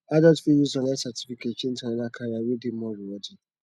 adults fit use online certificate change to another career wey dey more rewarding